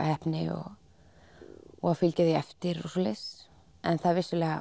heppni og og að fylgja því eftir en það